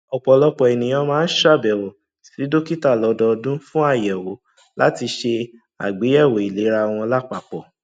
ọpọlọpọ ènìyàn máa ń ṣàbẹwò sí dókítà lọdọọdún fún àyẹwò láti ṣe àgbéyẹwò ìlera wọn lápapọ